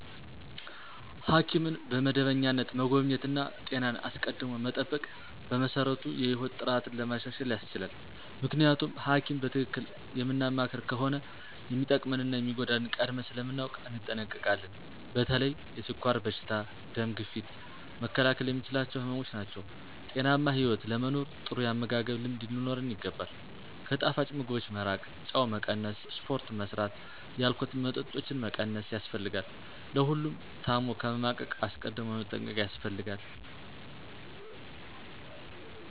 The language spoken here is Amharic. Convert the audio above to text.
ሐኪምን በመደበኛነት መጎብኘት እና ጤናን አስቀድሞ መጠበቅ በመሰረቱ የህይወት ጥራትን ለማሻሻል ያስችላል። ምክንያቱም ሀኪም በትክክል የምናማክር ከሆነ የሚጠቅመንን እና የሚጎዳንን ቀድመን ስለምናውቅ እንጠነቀቃለን። በተለይ የስኳር በሽታ፣ ደም ግፊት መከላከል የምንችላቸው ህመምች ናቸው። ጤናማ ህይወት ለመኖር ጥሩ ያመጋገብ ልምድ ሊኖረን ይገባል፣ ከጣፋጭ ምግቦች መራቅ፣ ጨው መቀነስ፣ ስፖርት መስራት፣ የአልኮል መጠጦችን መቀነስ ያስፈልጋል። ለሁሉም ታም ከመማቀቅ አስቀድም መጠንቀቅ ያስፈልጋል።